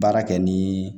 Baara kɛ ni